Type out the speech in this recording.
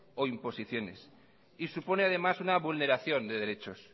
o imposiciones y supone además una vulneración de derechos